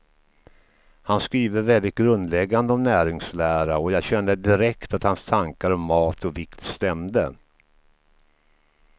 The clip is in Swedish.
Han skriver väldigt grundläggande om näringslära, och jag kände direkt att hans tankar om mat och vikt stämde.